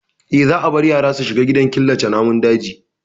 Eh, za a bar ya ra su shiga gidaan killace namun daji.